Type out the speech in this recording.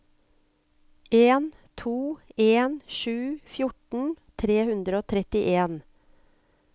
en to en sju fjorten tre hundre og trettien